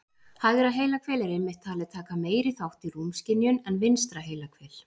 Hægra heilahvel er einmitt talið taka meiri þátt í rúmskynjun en vinstra heilahvel.